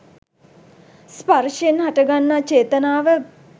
ස්පර්ශයෙන් හටගන්නා චේතනාව